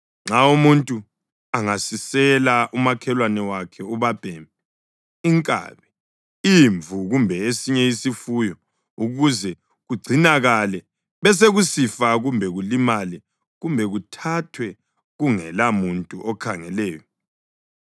Nxa umuntu angasisela umakhelwane wakhe ubabhemi, inkabi, imvu kumbe esinye isifuyo ukuze kugcinakale besekusifa kumbe kulimale kumbe kuthathwe kungelamuntu okhangeleyo,